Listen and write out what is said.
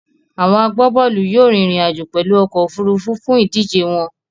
Àwon agbábólù yio rín ìrìn àjò pèlu okò òfurufú fún ìdíje won